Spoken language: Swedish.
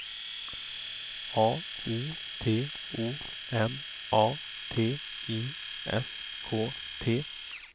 A U T O M A T I S K T